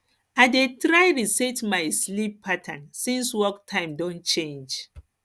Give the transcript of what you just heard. i dey try reset my sleep pattern since work time don change